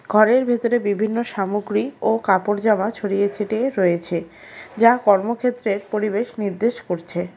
ঘরের ভেতরে বিভিন্ন সামগ্রী ও কাপড়-জামা ছড়িয়ে ছিটিয়ে রয়েছে যা কর্মক্ষেত্রের পরিবেশ নির্দেশ করছে।